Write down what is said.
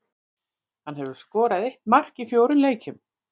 Hann hefur skorað eitt mark í fjórum leikjum.